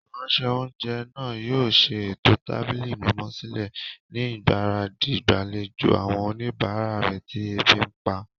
Ìránṣẹ́-oúnjẹ náà yóò ṣe ètò tábìlì mímọ́ sílẹ̀ ni ìgbáradì ìgbàlejò àwọn oníbàárà tí ebi ń pa.